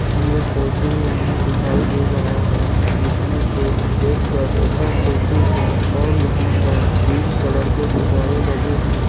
ये फोटू हमें दिखाई दे रहा है जिसमे के एक कैफे का फोटू है और यहाँ पर ग्रीन कलर के गुब्बारे लगे हैं।